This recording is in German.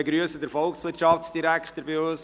Ich begrüsse den Volkswirtschaftsdirektor bei uns.